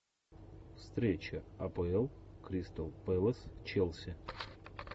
встреча апл кристал пэлас челси